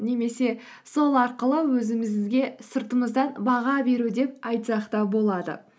немесе сол арқылы өзімізге сыртымыздан баға беру деп айтсақ та болады